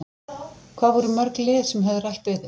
Hvað voru mörg lið sem höfðu rætt við þig?